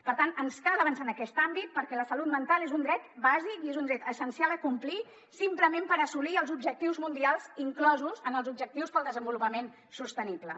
per tant ens cal avançar en aquest àmbit perquè la salut mental és un dret bàsic i és un dret essencial a complir simplement per assolir els objectius mundials inclosos en els objectius per al desenvolupament sostenible